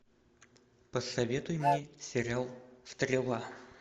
посоветуй мне сериал стрела